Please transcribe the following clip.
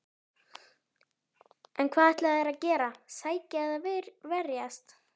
En hvað ætla þeir að gera, sækja eða verjast?